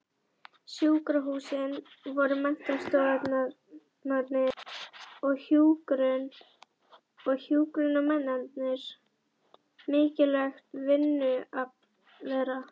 Sjúkrahúsin voru menntastofnanir í hjúkrun og hjúkrunarnemarnir mikilvægt vinnuafl þeirra.